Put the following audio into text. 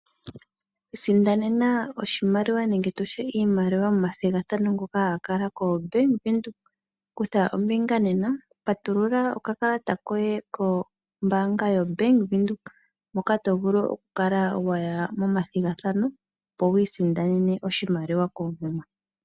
Isindanena oshimaliwa nenge tutye iimaliwa momathigathano ngoka haga kala koBank Windhoek . Kutha ombinga nena. Patulula okakalata koye kombaanga yoBank Windhoek moka tovulu okukala waya momathigathano opo wiisindanene oshimaliwa koomuma.